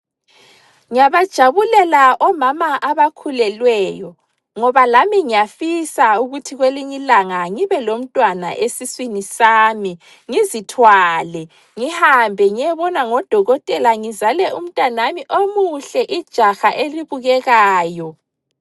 Ngiyabajabulela omama abakhulelweyo, ngoba lami ngiyafisa ukuthi kwelinyilanga ngibelomntwana esiswini sami, ngizithwale ngihambe ngiyebonwa ngodokotela ngizale umntanami omuhle, ijaha elibukekayo.